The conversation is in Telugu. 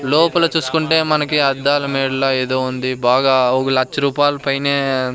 లోపల చూసుకుంటే మనకి అద్దాలమేడలా ఏదో ఉంది బాగా ఒక లచ్చ రూపాయలు పైనే--